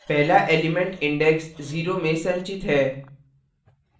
पहला element index 0 में संचित है